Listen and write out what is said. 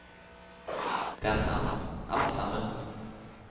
Det er sant, alt sammen.